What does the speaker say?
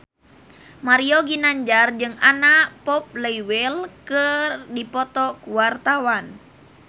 Mario Ginanjar jeung Anna Popplewell keur dipoto ku wartawan